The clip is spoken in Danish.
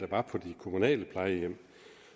var på de kommunale plejehjem